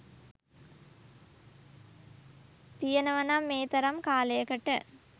තියෙනවානම් මේතරම් කාලයකට